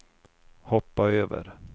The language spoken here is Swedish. hoppa över